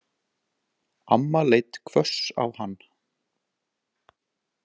Amma leit hvöss á hann.